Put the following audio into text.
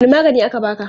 Wanne magani aka baka?